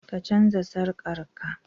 ka canza sarkar ka?